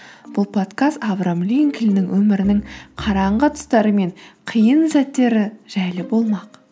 бұл подкаст авраам линкольннің өмірінің қараңғы тұстары мен қиын сәттері жайлы болмақ